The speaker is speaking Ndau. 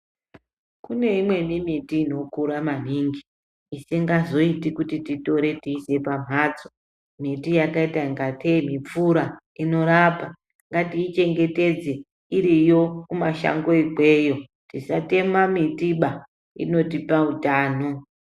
Kuneimweni miti inokura maningi isingazoiti kuti titore teiisa pamhatso. Miti yakaita kunge tee mupfura inorapa ngatii chengetedze iriyo kumashango ikweyo tisatema mitiba inotipa hutano.